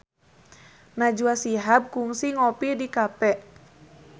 Najwa Shihab kungsi ngopi di cafe